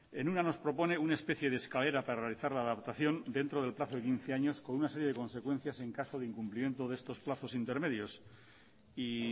en una nos propone una especie de escalera para realizar la adaptación dentro del plazo de quince años con una serie de consecuencias en caso de incumplimiento de estos plazos intermedios y